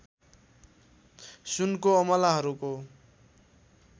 सुनको अमलाहरूको